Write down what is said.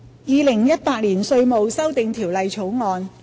《2018年稅務條例草案》。